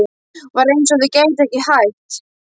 Það var eins og þau gætu ekki hætt.